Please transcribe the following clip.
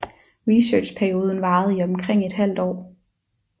Researchperioden varede i omkring et halvt år